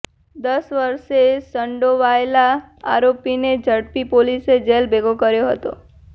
દસ વર્ષે સંડોવાયેલા આરોપીને ઝડપી પોલીસે જેલ ભેગો કર્યો હતો